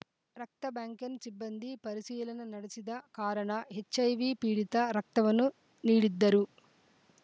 ರಕ್ತ ಬ್ಯಾಂಕ್‌ನ್ ಸಿಬ್ಬಂದಿ ಪರಿಶೀಲನೆ ನಡೆಸದ ಕಾರಣ ಎಚ್‌ಐವಿ ಪೀಡಿತ ರಕ್ತವನ್ನು ನೀಡಿದ್ದರು